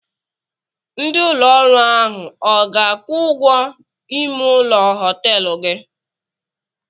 Ndị ụlọ ọrụ ahụ ọ ga-akwụ ụgwọ ime ụlọ họtelụ gị?